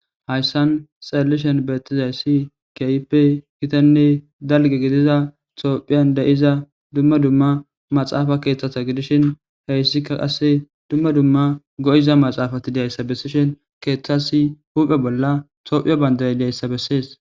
Hayssan xeellishe de'izayssi keehippe gitanne dalgga gidida tophphiyan de'iza dumma dumma maxaafa keeththata gidishi hayssikka qasse dumma dumma go'iza maxaafati de'izayssa bessishe keettas huphphe bolla tophphiya bandiray dizayssa bessees